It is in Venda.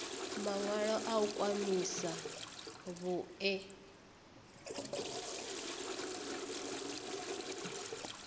mawalo a u khwahisa vhue